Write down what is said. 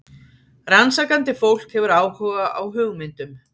Rannsakandi fólk hefur áhuga á hugmyndum.